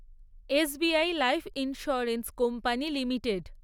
SBI life insurance company limited